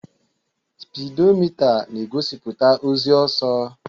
Spidomita na-egosiputa ozi ọsọ.